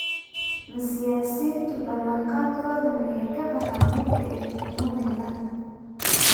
Ma siyaasiyiintu ballan-qaadkooda miyey ka baxaan mar kaay xukuumadda helaan?